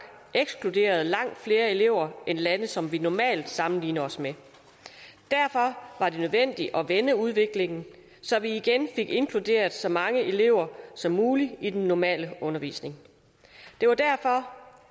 ekskluderede langt flere elever end lande som vi normalt sammenligner os med derfor var det nødvendigt at vende udviklingen så vi igen fik inkluderet så mange elever som muligt i den normale undervisning det var derfor